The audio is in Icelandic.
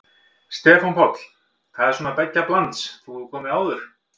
Stefán Páll: Það er svona beggja blands, þú hefur komið áður?